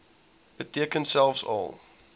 beteken selfs al